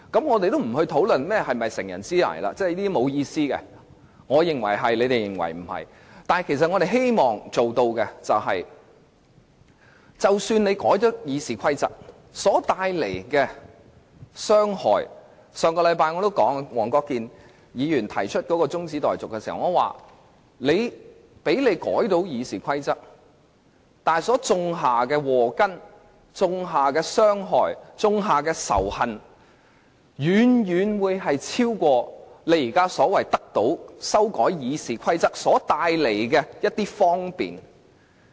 我們的目的，是即使他們成功修訂《議事規則》而帶來傷害......上星期，我在黃國健議員提出的中止待續議案辯論中已提及，他們成功修訂《議事規則》所種下的禍根、傷害及仇恨，將遠超他們口中所說修訂《議事規則》會帶來的方便。